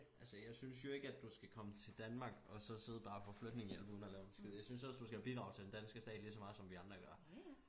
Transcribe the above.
Altså jeg synes jo ikke at du skal komme til Danmark og så sidde bare og få flygtningehjælp uden og lave en skid jeg synes også du skal bidrage til den danske stat ligeså meget som vi andre gør